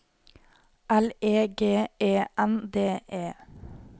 L E G E N D E